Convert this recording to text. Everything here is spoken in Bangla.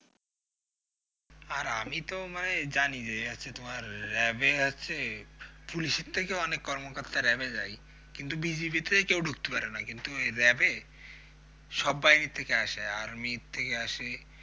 আর আমি তো মানে জানি যে আচ্ছা তোমার আহ র‍্যাবে আছে পুলিশের থেকেও অনেক কর্মকর্তা র‍্যাবে যায় কিন্তু BGB তে কেউ ঢুকতে পারে না কিন্তু র‍্যাবে সব বাহিনির থেকেই আসে army এর থেকে আসে